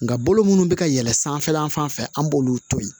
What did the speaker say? Nka bolo munnu bɛ ka yɛlɛ sanfɛla fan fɛ an b'olu to yen